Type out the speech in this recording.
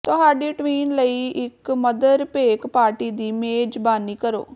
ਤੁਹਾਡੀ ਟਵਿਨ ਲਈ ਇਕ ਮਦਰ ਭੇਕ ਪਾਰਟੀ ਦੀ ਮੇਜ਼ਬਾਨੀ ਕਰੋ